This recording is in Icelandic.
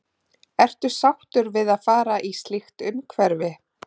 Ertu sáttur við að fara í slíkt umhverfi?